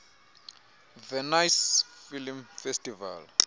venice film festival